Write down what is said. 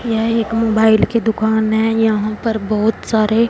यह एक मोबाइल की दुकान है यहां पर बहुत सारे--